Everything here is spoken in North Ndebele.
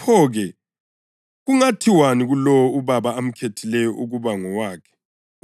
pho-ke kungathiwani kulowo uBaba amkhethileyo ukuba ngowakhe